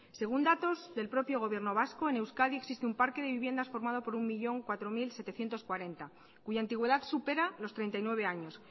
según datos del propio gobierno vasco en euskadi existe un parque de viviendas formado por un un millón cuatro mil setecientos cuarenta cuya antigüedad supera los treinta y nueve años